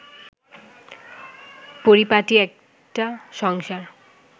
পরিপাটি একটা সংসার